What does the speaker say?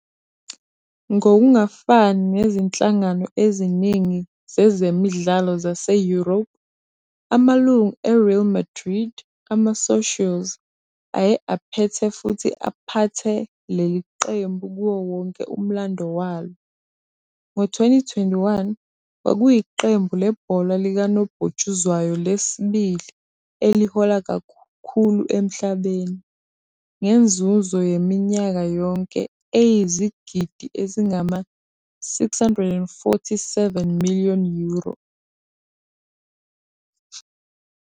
Ngokungafani nezinhlangano eziningi zezemidlalo zaseYurophu, amalungu e-Real Madrid, amasocios, aye aphethe futhi aphathe leli qembu kuwo wonke umlando walo. Ngo-2021, kwakuyiqembu lebhola likanobhutshuzwayo lesibili elihola kakhulu emhlabeni, ngenzuzo yaminyaka yonke eyizigidi ezingama-647 miliyoni euro.